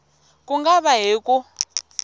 ku nga va hi ku